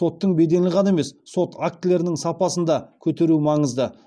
соттың беделін ғана емес сот актілерінің сапасын да көтеру маңызды